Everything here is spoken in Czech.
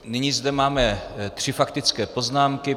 Nyní zde máme tři faktické poznámky.